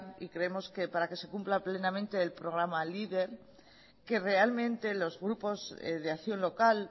y creemos que para que se cumpla plenamente el programa leader que realmente los grupos de acción local